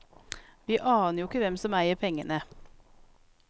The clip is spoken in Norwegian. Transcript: Vi aner jo ikke hvem som eier pengene.